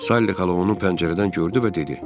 Sally xala onu pəncərədən gördü və dedi: